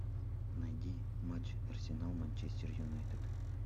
найди матч арсенал манчестер юнайтед